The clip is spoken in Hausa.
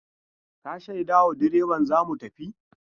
Ka shaidawa direban za mu tafi?